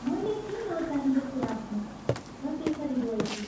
मैले के नचाहिँदो कुरा भनेँ र त्यसरी रोएकी?